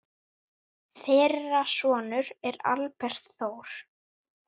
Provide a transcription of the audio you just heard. Þeirra sonur er Albert Þór.